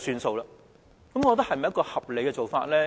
這是否一個合理的做法呢？